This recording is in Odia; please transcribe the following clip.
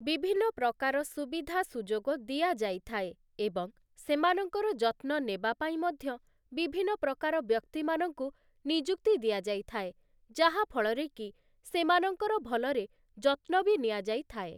ବିଭିନ୍ନ ପ୍ରକାର ସୁବିଧା ସୁଯୋଗ ଦିଆଯାଇଥାଏ ଏଵଂ ସେମାନଙ୍କର ଯତ୍ନ ନେବାପାଇଁ ମଧ୍ୟ ବିଭିନ୍ନ ପ୍ରକାର ବ୍ୟକ୍ତିମାନଙ୍କୁ ନିଯୁକ୍ତି ଦିଆଯାଇଥାଏ ଯାହାଫଳରେ କି ସେମାନଙ୍କର ଭଲରେ ଯତ୍ନ ବି ନିଆଯାଇଥାଏ ।